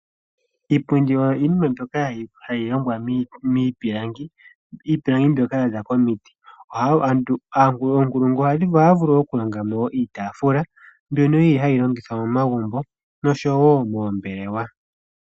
Iipundi oyo iinima mbyoka hayi longwa miipilangi. Iipilangi mbyoka yaza momiti. Oonkulungu ohadhi vulu okulonga mo iitaafula mbyono yili hayi longithwa momagumbo noshowo moombelewa.